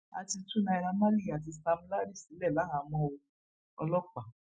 a ti tú naira marley àti sam larry sílẹ láhàámọ o ọlọpàá